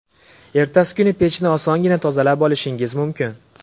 Ertasi kuni pechni osongina tozalab olishingiz mumkin.